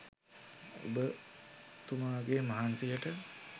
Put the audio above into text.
ඔබතුමාගේ මහන්සියට